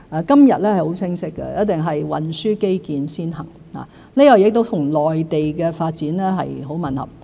今日是很清晰的，一定是運輸基建先行，這亦與內地的發展很吻合。